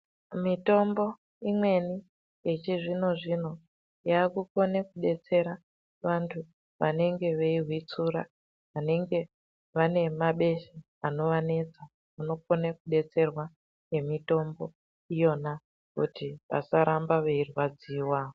Mitombo imweni yechizvino zvino, yaakukone kubetsera wandu wanenge weihwetsura, wanenge wane mabesha anowanetsa, wanokone kubetserwa nemitombo iyona kuti asarambe eirwadziwa.